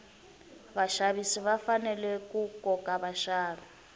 vaxavisi va fanele ku koka vaxavi